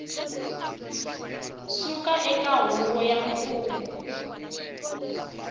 suka eka huvo ya mfumo